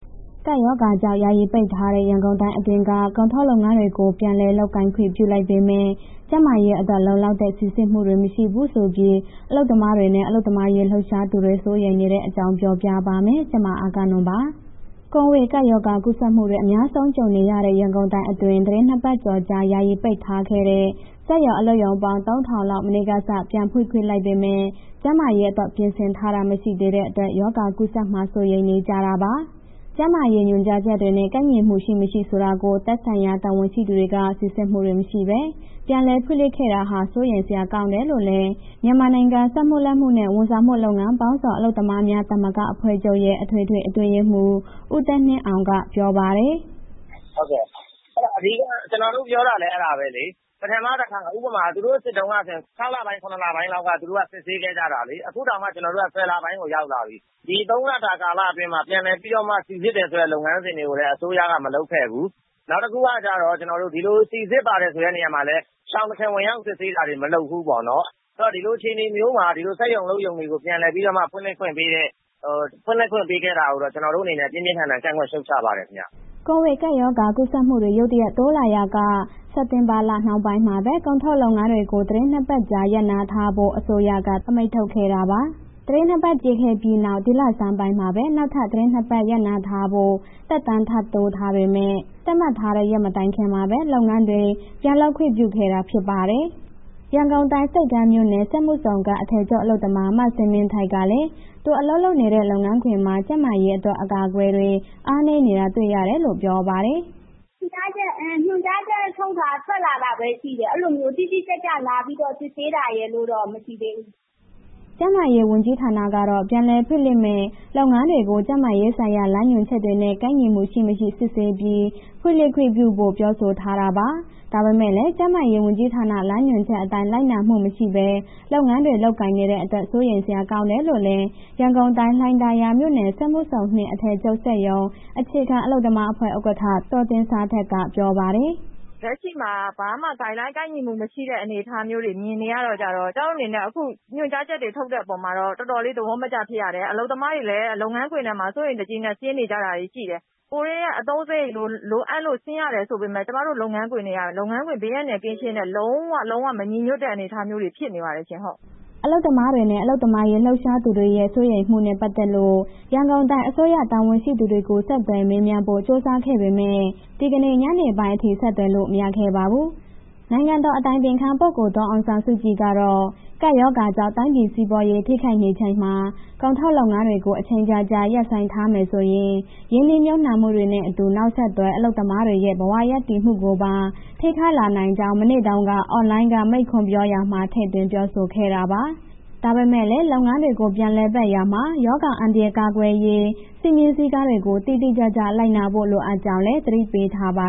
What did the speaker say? ကပ်ရောဂါကြောင့် ယာယီပိတ်ထားတဲ့ ရန်ကုန်တိုင်းအတွင်းက ကုန်ထုတ်လုပ်ငန်းတွေကို ပြန်လည်လုပ်ကိုင်ခွင့် ပြုလိုက်ပေမဲ့ ကျန်းမာရေးအတွက် လုံလောက်တဲ့ စိစစ်မှုတွေ မရှိဘူးဆိုပြီး အလုပ်သမားတွေနဲ့ အလုပ်သမားအရေး လှုပ်ရှားသူတွေ စိုးရိမ်နေတဲ့အကြောင်း ပြောပြပါမယ်။ ဗွီအိုအေမြန်မာပိုင်း သတင်းထောက် မအဂ္ဂနွန်က သတင်းပေးပို့ထားပါတယ်။ ကိုဗစ်ကပ်ရောဂါ ကူးစက်မှုတွေ အများဆုံး ကြုံနေရတဲ့ ရန်ကုန်တိုင်းအတွင်း သီတင်း ၂ ပတ်ကျော်ကြာ ယာယီပိတ်ထားခဲ့တဲ့ စက်ရုံ၊ အလုပ်ရုံပေါင်း ၃,၀၀၀ လောက် မနေ့ကစ ပြန်ဖွင့်လိုက်ပေမဲ့ ကျန်းမာရေးအတွက် ပြင်ဆင်ထားတာ မရှိသေးတဲ့အတွက် ရောဂါကူးစက်မှာ စိုးရိမ်နေကြတာပါ။ ကျန်းမာရေးလမ်းညွှန်ချက်တွေနဲ့ ကိုက်ညီမှု ရှိ၊ မရှိဆိုတာကို သက်ဆိုင်ရာ တာဝန်ရှိသူတွေက စိစစ်မှုတွေ မရှိဘဲ ပြန်လည်ဖွင့်လှစ်တာဟာ စိုးရိမ်စရာ ကောင်းတယ်လို့လည်း မြန်မာနိုင်ငံ စက်မှုလက်မှု နဲ့ ဝန်ဆောင်မှုလုပ်ငန်းပေါင်းစုံ အလုပ်သမားများသမဂ္ဂအဖွဲ့ချုပ်ရဲ့ အထွေထွေအတွင်းရေးမှူး ဦးသက်နှင်းအောင်က ပြောပါတယ်။ “ဟုတ်ကဲ့။ အဲ့ဒါအဓိက ကျနော်တို့ပြောတာလည်း အဲ့ဒါပဲလေး၊ ပထမတစ်ခါ ဥပမာ သူတို့ စစ်တုန်းကဆိုရင် ၆ လပိုင်း၊ ၇ လပိုင်းလောက်က သူတို့က စစ်ဆေးခဲ့ကြတာလေး၊ အခုတောင်မှ ကျနော်တို့ ၁၀ လပိုင်းကိုရောက်လာပြီ၊ ဒီ ၃ လတာကာလအတွင်းမှာ ပြန်လည်ပြီးတော့မှ စိစစ်တယ်ဆိုတဲ့ လုပ်ငန်းစဉ်တွေကိုလည်း အစိုးရက မလုပ်ခဲ့ဘူး။ နောက်တစ်ခုကကျတော့ ဒီလိုစိစစ်ပါတယ်ဆိုတဲ့ နေရာမှာလည်း ရှောင်တခင်ဝင်ရောက် စစ်ဆေးတာလည်း မလုပ်ဘူးပေါ့နော်။ ဒီလိုအခြေအနေမျိုးမှာ ဒီလိုစက်ရုံ အလုပ်ရုံ ဖွင့်လှစ်ခွင့်ပေးခဲ့တာကို ပြင်းပြင်းထန်ထန်ကန့်ကွက် ရှုတ်ချတယ်။” ကိုဗစ်ကပ်ရောဂါ ကူးစက်မှုတွေ ရုတ်တရက် တိုးလာရာက စက်တင်ဘာလ နှောင်းပိုင်းမှာပဲ ကုန်ထုတ်လုပ်ငန်းတွေကို သီတင်း ၂ ပတ်ကြာ ရပ်နားထားဖို့ အစိုးရက အမိန့်ထုတ်ခဲ့တာပါ။ သီတင်း ၂ ပတ်ပြည့်ခဲ့ပြီးနောက် ဒီလဆန်းပိုင်းမှာပဲ နောက်ထပ် သီတင်း ၂ ပတ် ရပ်နားထားဖို့ သက်တမ်းထပ်တိုးထားပေမဲ့ သတ်မှတ်ထားတဲ့ရက် မပြည့်ခင်မှာဘဲ လုပ်ငန်းတွေ ပြန်လုပ်ခွင့်ပြုခဲ့တာ ဖြစ်ပါတယ်။ ရန်ကုန်တိုင်း ဆိပ်ကမ်းမြို့နယ် စက်မှုဇုန်က အထည်ချုပ်အလုပ်သမ မဇင်မင်းထိုက်ကလည်း သူအလုပ်လုပ်နေတဲ့ လုပ်ငန်းခွင်မှာ ကျန်းမာရေးအတွက် အကာအကွယ်တွေ အားနည်းနေတာ တွေ့ရတယ်လို့ ပြောပါတယ်။ “ညွှန်ကြားချက်ထုတ်ထား၊ ထွက်လာတာပဲ ရှိတယ်၊ အဲ့လိုမျိုး တိတိကျကျလာပြီးတော့ စစ်ဆေးတာရယ်လို့တော့ မရှိသေးဘူး။” ကျန်းမာရေးဝန်ကြီးဌာနကတော့ ပြန်လည်ဖွင့်လှစ်မယ့် လုပ်ငန်းတွေကို ကျန်းမာရေးဆိုင်ရာ လမ်းညွှန်ချက်တွေနဲ့ ကိုက်ညီမှုရှိ၊ မရှိ စစ်ဆေးပြီး ဖွင့်လှစ်ခွင့်ပြုဖို့ ပြောဆိုထားတာပါ။ ဒါပေမဲ့လည်း ကျန်းမာရေးဝန်ကြီးဌာန လမ်းညွှန်ချက်အတိုင်း လိုက်နာမှုမရှိပဲ လုပ်ငန်းတွေ လုပ်ကိုင်နေတဲ့အတွက် စိုးရိမ်စရာ ကောင်းတယ်လို့လည်း ရန်ကုန်တိုင်း လှိုင်သာယာမြို့နယ် စက်မှုဇုန် အထည်ချုပ်စက်ရုံ အခြေခံအလုပ်သမားအဖွဲ့ ဥက္ကဋ္ဌ ဒေါ်သင်ဇာထက်က ပြောပါတယ်။ “လက်ရှိမှာ ဘာမှ Guideline ကိုက်ညီမှုမရှိတဲ့ အနေအထားမျိုးတွေ မြင်နေရတော့ကျတော့ ကျမတို့အနေနဲ့ အခု ညွှန်ကြားချက်ထုတ်တဲ့အပေါ်မှာတော့ တော်တော်လေး သဘောမကျဖြစ်ရတယ်၊ အလုပ်သမားတွေလည်း လုပ်ငန်းခွင်ထဲမှာ စိုးရိမ်တကြီးနဲ့ ဆင်းနေကြတာတွေရှိတယ်၊ ကိုယ်တွေက အသုံးစရိတ်လိုအပ်လို့ ဆင်းရတယ်ဆိုပေမဲ့ ကျမတို့ လုပ်ငန်းခွင်ထဲက လုပ်ငန်းခွင်ဘေးအန္တရာယ်ကင်းရှင်းတဲ့ လုံးဝ၊ လုံးဝမညီညွှတ်တဲ့ အနေအထားမျိုးတွေ ဖြစ်နေပါတယ်ရှင်။” အလုပ်သမားတွေနဲ့ အလုပ်သမားရေး လှုပ်ရှားသူတွေရဲ့ စိုးရိမ်မှုတွေနဲ့ ပတ်သက်လို့ ရန်ကုန်တိုင်းအစိုးရ တာဝန်ရှိသူတွေကို ဆက်သွယ်မေးမြန်းဖို့ ကြိုးစားခဲ့ပေမဲ့ ဒီကနေ့ညနေပိုင်းအထိ ဆက်သွယ်လို့ မရခဲ့ပါဘူး။ နိုင်ငံတော်အတိုင်ပင်ခံ ပုဂ္ဂိုလ် ဒေါ်အောင်ဆန်းစုကြည်ကတော့ ကပ်ရောဂါကြောင့် တိုင်းပြည်စီးပွားရေး ထိခိုက်နေချိန်မှာ ကုန်ထုတ်လုပ်ငန်းတွေကို အချိန်ကြာကြာ ရပ်ဆိုင်းထားမယ်ဆိုရင် ရင်းနှီးမြှုုပ်နှံမှုတွေနဲ့ အတူ နောက်ဆက်တွဲ အလုပ်သမားတွေရဲ့ ဘဝရပ်တည်မှုကိုပါ ထိခိုက်လာနိုင်ကြောင်း မနေ့တုန်းက အွန်လိုင်းက မိန့်ခွန်းပြောရာမှာ ထည့်သွင်းပြောဆိုခဲ့တာပါ။ ဒါပေမဲ့လည်း လုပ်ငန်းတွေကို ပြန်လည်ပတ်ရာမှာ ရောဂါအန္တရာယ် ကာကွယ်ရေး စည်းမျဉ်းစည်းကမ်းတွေကို တိတိကျကျ လိုက်နာဖို့ လိုအပ်ကြောင်းလည်း သတိပေးထားပါ